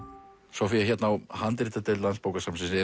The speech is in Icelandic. Soffía hérna á handritadeild Landsbókasafnsins eru